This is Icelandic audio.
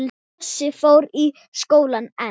Bjössi fór í skólann en